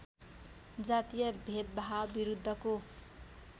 जातीय भेदभावविरुद्धको